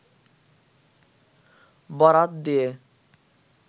বরাত দিয়ে